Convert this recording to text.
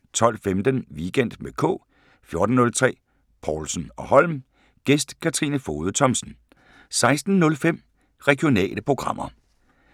12:15: Weekend med K 14:03: Povlsen & Holm: Gæst Katrine Fogede Thomsen 16:05: Regionale programmer